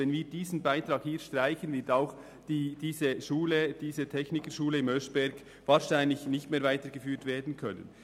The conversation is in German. Wenn wir diesen Beitrag streichen, wird auch diese HF in Oeschberg wahrscheinlich nicht mehr weitergeführt werden können.